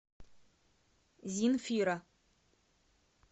зинфира